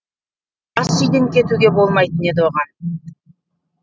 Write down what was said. ас үйден кетуге болмайтын еді оған